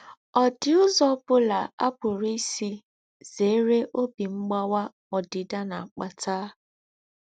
Ọ̀ dì úzọ́ ọ̀ bùlà à pùrù ísí zèrè óbí mgbawà ódìdà nà-àkpàtà?